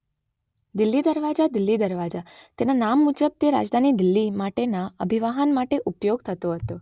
દિલ્હી દરવાજા દિલ્લી દરવાજા - તેના નામ મુજબ તે રાજધાની દિલ્હી માટેના અભિવાહન માટે ઉપયોગ થતો હતો.